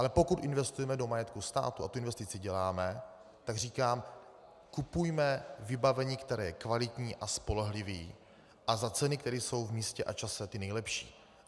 Ale pokud investujeme do majetku státu a tu investici děláme, tak říkám: Kupujme vybavení, které je kvalitní a spolehlivé a za ceny, které jsou v místě a čase ty nejlepší.